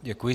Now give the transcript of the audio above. Děkuji.